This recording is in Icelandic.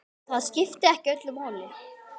Það skipti ekki öllu máli.